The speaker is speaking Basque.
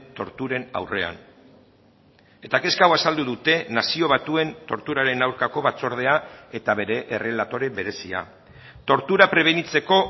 torturen aurrean eta kezka hau azaldu dute nazio batuen torturaren aurkako batzordea eta bere errelatore berezia tortura prebenitzeko